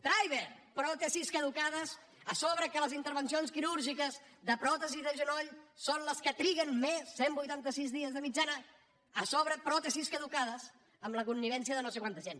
traiber pròtesis caducades a sobre que les intervencions quirúrgiques de pròtesis de genoll són les que triguen més cent i vuitanta sis dies de mitjana a sobre pròtesis caducades amb la connivència de no sé quanta gent